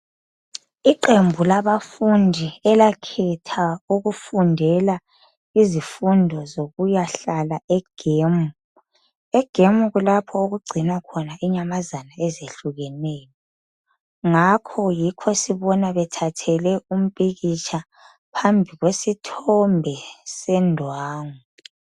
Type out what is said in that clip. Iqembu labafundi elakhetha ukufundela izifundo zokuyahlala egemu. Egemu kulapho okugcinwa khona inyamazana ezehlukeneyo. Ngakho yikho sibona bethathele umpikitsha phambi kwesithombe sendwangu.